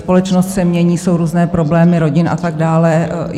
Společnost se mění, jsou různé problémy rodin a tak dále.